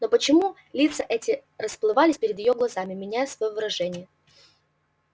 но почему лица эти расплывались перед её глазами меняя своё выражение